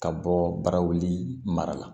Ka bɔ barawuli mara la